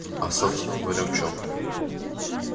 а собственно говоря в чём